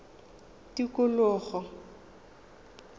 tikologo